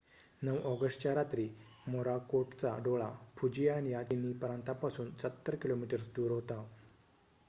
9 ऑगस्टच्या रात्री मोराकोटचा डोळा फुजियान या चिनी प्रांतापासून सत्तर किलोमीटर्स दूर होता